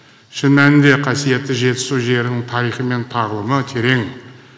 шын мәнінде қасиетті жетісу жерінің тарихы мен тағылымы терең